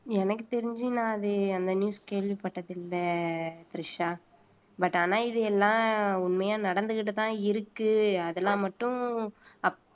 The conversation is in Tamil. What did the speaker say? எனக்கு தெரிஞ்சு நான் அது அந்த news கேள்விப்பட்டது இல்ல திரிஷா but ஆனா இது எல்லாம் உண்மையா நடந்துகிட்டுதான் இருக்கு அதெல்லாம் மட்டும்